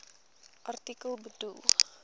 artikel bedoel